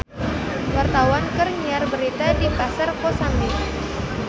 Wartawan keur nyiar berita di Pasar Kosambi